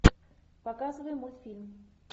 показывай мультфильм